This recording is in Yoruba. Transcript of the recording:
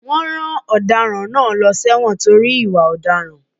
Wọn rán ọ̀daràn náà lọ sí èwòn nítorí ìwà ọ̀daràn.